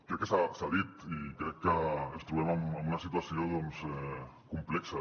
crec que s’ha dit i crec que ens trobem en una situació doncs complexa